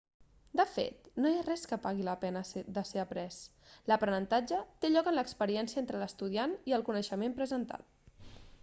de fet no hi ha res que pagui la pena de ser après l'aprenentatge té lloc en l'experiència entre l'estudiant i el coneixement presentat